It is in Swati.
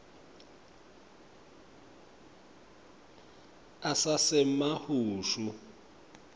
asasemahushu